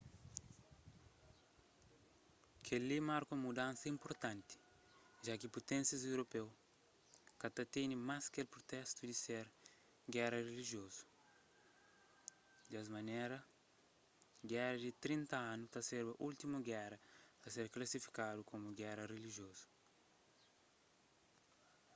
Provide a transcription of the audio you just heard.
kel-li marka un mudansa inpurtanti ja ki puténsias europeu ka ta tene mas kel pritestu di ser géra rilijiozu des manera géra di trinta anu ta serba últimu géra a ser klasifikadu komu géra rilijiozu